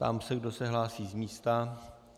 Ptám se, kdo se hlásí z místa.